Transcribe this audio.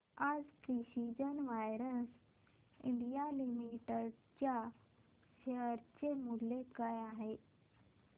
आज precision wires India limited च्या share चे मूल्य काय आहे